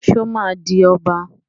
Só ma di Ọba?